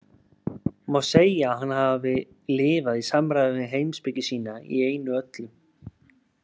Má segja að hann hafi lifað í samræmi við heimspeki sína í einu og öllu.